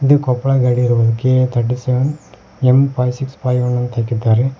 ಇದು ಕೊಪ್ಪಳ ಗಾಡಿ ಇರಬಹುದು K A thirty seven M five six five one ಅಂತ ಹಾಕಿದ್ದಾರೆ.